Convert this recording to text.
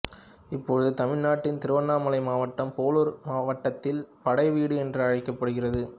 இப்போது தமிழ்நாட்டின் திருவண்ணாமலை மாவட்டம் போளூர் வட்டத்தில் படைவீடு என்று அழைக்கப்படுகிறது